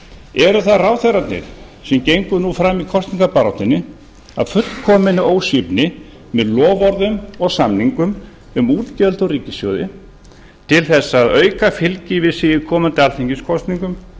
eða eru það ráðherrarnir sem gengu nú fram í kosningabaráttunni af fullkominni ósvífni með loforðum og samningum um útgjöld úr ríkissjóði til þess að auka fylgi við sig í komandi alþingiskosningum